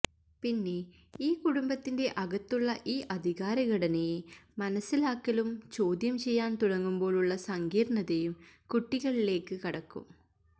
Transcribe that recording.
പിന്നെ ഈ കുടുംബത്തിന്റെ അകത്തുള്ള ഈ അധികാരഘടനയെ മനസിലാക്കലും ചോദ്യം ചെയ്യാന് തുടങ്ങുമ്പോള് ഉള്ള സങ്കീര്ണ്ണതയും കുട്ടികളിലേക്ക് കടക്കും